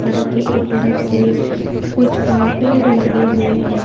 सड़क के एक तरफ से कुछ पेड़ लगे हुए है।